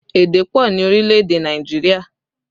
Èdè pọ ni orílẹ̀ èdè Nàìjíríà